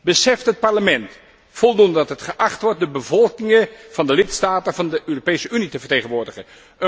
Beseft het Parlement voldoende dat het geacht wordt de bevolkingen van de lidstaten van de Europese Unie te vertegenwoordigen?